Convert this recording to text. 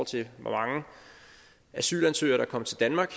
til hvor mange asylansøgere der kom til danmark